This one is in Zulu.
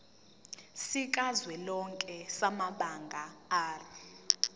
sikazwelonke samabanga r